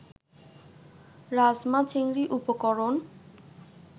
রাজমা-চিংড়ি উপকরণ